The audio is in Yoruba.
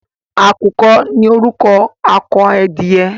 À̀kùkọ ní orúkọ akọ edìyẹ.